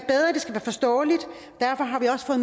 forståeligt derfor har vi også fået